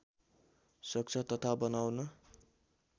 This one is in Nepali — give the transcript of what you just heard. सक्छ तथा बनाउन